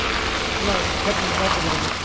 Blær, hvernig er veðrið á morgun?